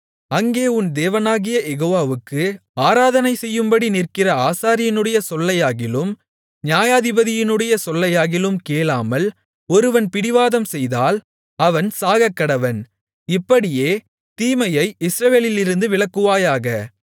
அங்கே உன் தேவனாகிய யெகோவாவுக்கு ஆராதனை செய்யும்படி நிற்கிற ஆசாரியனுடைய சொல்லையாகிலும் நியாயாதிபதியினுடைய சொல்லையாகிலும் கேளாமல் ஒருவன் பிடிவாதம் செய்தால் அவன் சாகக்கடவன் இப்படியே தீமையை இஸ்ரவேலிலிருந்து விலக்குவாயாக